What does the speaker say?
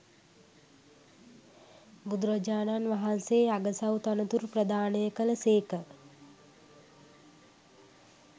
බුදුරජාණන් වහන්සේ අගසවු තනතුරු ප්‍රදානය කළ සේක